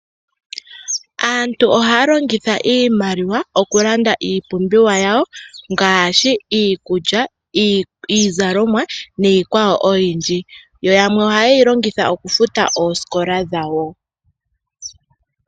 Aantu ohaya longitha iimaliwa okulanda iipumbiwa yawo ngaashi iikulya, iizalomwa niikwawo oyindji. Yo yamwe ohaye yi longitha okufuta oosikola dhawo.